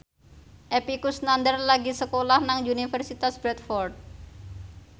Epy Kusnandar lagi sekolah nang Universitas Bradford